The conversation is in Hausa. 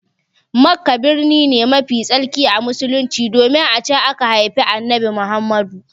Makka birni ne mafi tsarki a Musulunci domin a can aka haifi Annabi Muhammad.